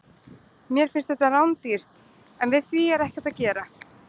Mér finnst þetta rándýrt, en við því er ekkert að gera.